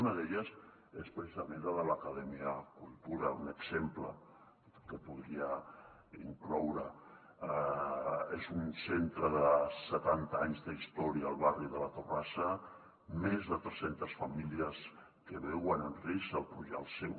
una d’elles és precisament la de l’acadèmia cultura un exemple que podria incloure és un centre de setanta anys d’història al barri de la torrassa més de tres centes famílies que veuen en risc el seu